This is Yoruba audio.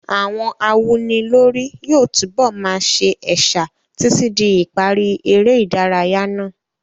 Àwọn awúnilórí yóò túbọ̀ máa sa ẹ̀sà títí di ìparí eré ìdárayá náà.